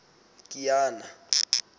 kiana